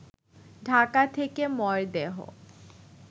ঢাকা থেকে মরদেহ